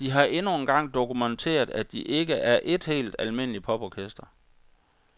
De har endnu en gang dokumenteret, at de ikke er et helt almindeligt poporkester.